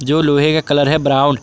जो लोहे का कलर है ब्राउन ।